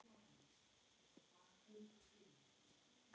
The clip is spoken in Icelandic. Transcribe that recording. Þær seljast alltaf mjög vel.